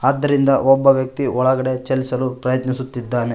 ಆದ್ದರಿಂದ ಒಬ್ಬ ವ್ಯಕ್ತಿಯು ಒಳಗಡೆ ಚಲಿಸಲು ಪ್ರಯತ್ನಿಸುತ್ತಿದ್ದಾನೆ.